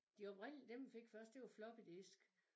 De oprindelige dem vi fik først det var floppy disk